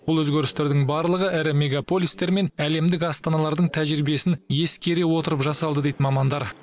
бұл өзгерістердің барлығы ірі мегаполистер мен әлемдік астаналардың тәжірибесін ескере отырып жасалды дейді мамандар